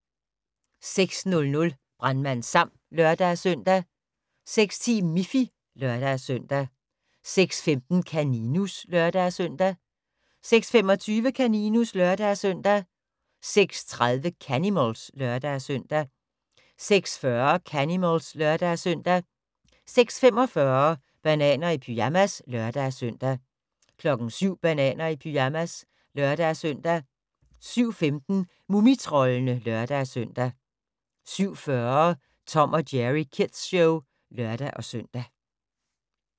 06:00: Brandmand Sam (lør-søn) 06:10: Miffy (lør-søn) 06:15: Kaninus (lør-søn) 06:25: Kaninus (lør-søn) 06:30: Canimals (lør-søn) 06:40: Canimals (lør-søn) 06:45: Bananer i pyjamas (lør-søn) 07:00: Bananer i pyjamas (lør-søn) 07:15: Mumitroldene (lør-søn) 07:40: Tom & Jerry Kids Show (lør-søn)